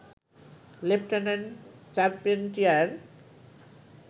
lieutenant Charpentier